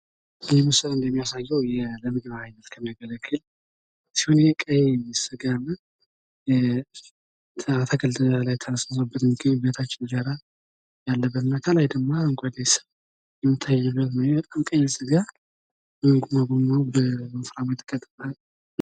ይህ ምስል እንደሚያሳየ ለምግብ እይነት ከሚያገለግል ቀይ ስጋ እና አትክልት ላይ ተነስንሶበት ምግብ በታች እንጀራ ያለበት እና ከላይ ደግሞ አረንጓዴ የሚታይ ነገር ቀይ ስጋ ተጎማምዶ በስርዓቱ የተከተፈ።